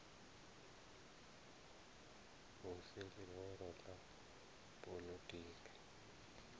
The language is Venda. hu si ḽihoro ḽa poḽotiki